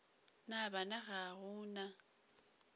na bana ga go na